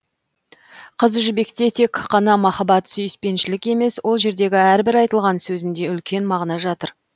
қыз жібекте тек қана махаббат сүйіспеншілік емес ол жердегі әрбір айтылған сөзінде үлкен мағына жатыр